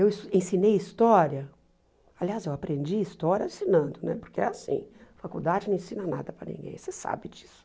Eu es ensinei história, aliás, eu aprendi história ensinando né, porque é assim, faculdade não ensina nada para ninguém, você sabe disso.